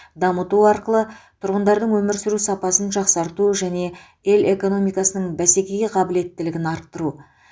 дамыту арқылы тұрғындардың өмір сүру сапасын жақсарту және ел экономикасының бәсекеге қабілеттілігін арттыру